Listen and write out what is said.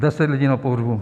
Deset lidí na pohřbu.